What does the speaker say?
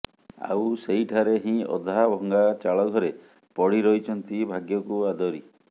ଆଉ ସେହିଠାରେ ହିଁ ଅଧା ଭଙ୍ଗା ଚାଳ ଘରେ ପଡ଼ି ରହିଛନ୍ତି ଭାଗ୍ୟକୁ ଆଦରି